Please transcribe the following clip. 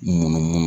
Munumunu